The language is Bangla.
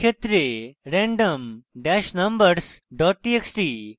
এই ক্ষেত্রে random dash numbers dot txt